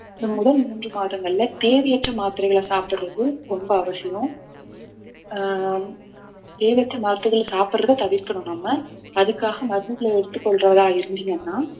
இந்த முதல் மூன்று மாதங்கள்ல தேவையற்ற மாத்திரைகளை சாப்பிடுறது ரொம்ப அவசியம் ஆஹ் தேவையற்ற மருந்துகளை சாப்பிடுறதை தவிர்க்கணும் நம்ம அதுக்காக மருந்துகளை எடுத்துக் கொள்றவரா இருந்தீங்கன்னா